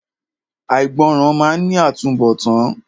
Àìgbọràn máa ní àtúnbọ̀tán.